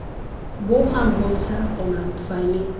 Bu ham bo‘lsa onam tufayli!